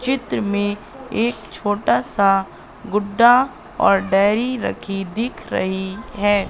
चित्र में एक छोटा सा गुड्डा और डायरी रखी दिख रही है।